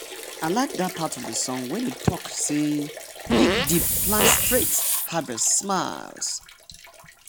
i like dat part of the song wey talk say “dig deep plant straight harvest smiles.”